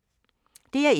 DR1